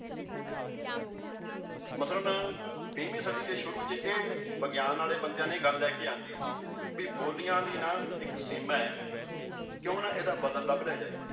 ਮਤਲਬ ਵੀਹਵੀਂ ਸਦੀ ਦੇ ਸ਼ੁਰੂ ਚ ਇਹ ਵਿਗਿਆਨ ਵਾਲੇ ਬੰਦਿਆਂ ਨੇ ਲੈ ਕੇ ਆਉਂਦੀ ਵੀ ਬੋਲੀਆਂ ਦੀ ਨਾ ਇੱਕ ਸੀਮਾ ਹੈ ਕਿਉਂ ਨਾ ਇਹਦਾ ਬਦਲ ਲੱਭ ਲਿਆ ਜਾਏ।